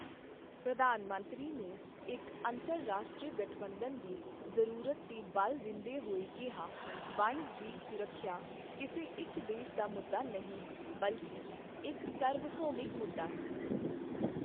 ਪ੍ਰਧਾਨ ਮੰਤਰੀ ਨੇ ਇੱਕ ਅੰਤਰਰਾਸ਼ਟਰੀ ਗਠਬੰਧਨ ਦੀ ਜ਼ਰੂਰਤ ਤੇ ਬਲ ਦਿੰਦੇਹੋਏ ਕੀਹਾ, ਵਣ ਜੀਵ ਸੁਰੱਖਿਆ ਕਿਸੇ ਇੱਕ ਦੇਸ਼ ਦਾ ਮੁੱਦਾ ਨਹੀਂ ਹੈ, ਬਲਕਿ ਇੱਕ ਸਰਵਭੌਮਿਕ ਮੁੱਦਾ ਹੈ।